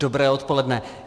Dobré odpoledne.